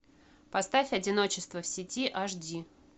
поставь одиночество в сети аш ди